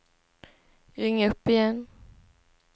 ring upp igen